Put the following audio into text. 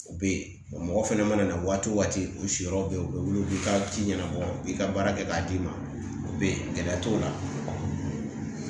U bɛ yen ɔ mɔgɔ fana mana na waati o waati u siyɔrɔ bɛ yen u bɛ wuli u bɛ ka ci ɲɛnabɔ u b'i ka baara kɛ k'a d'i ma o bɛ ye gɛlɛya t'o la